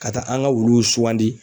Ka taa an ŋa wuluw sugandi